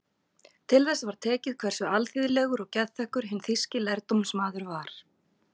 Til þess var tekið hversu alþýðlegur og geðþekkur hinn þýski lærdómsmaður var.